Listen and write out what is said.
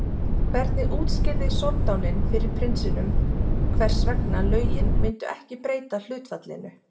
Hvernig útskýrði soldáninn fyrir prinsinum hvers vegna lögin myndu ekki breyta hlutfallinu?